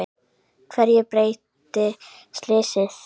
Hverju breytti slysið?